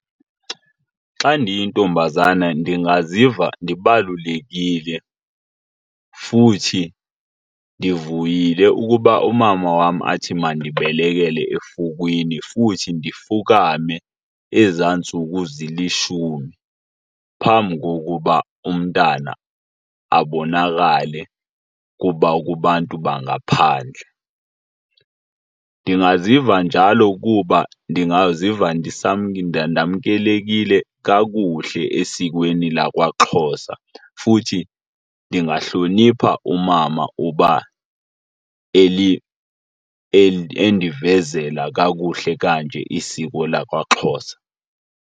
Xa ndiyintombazana ndingaziva ndibalulekile futhi ndivuyile ukuba umama wam athi mandibelekele efukwini futhi ndifukame ezaa ntsuku zilishumi phambi kokuba umntana abonakale kubantu bangaphandle. Ndingaziva njalo kuba ndingaziva ndamkelekile kakuhle esikweni lakwaXhosa futhi ndingahlonipha umama uba endivezela kakuhle kanje isiko lakwaXhosa.